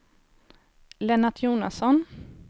Lennart Jonasson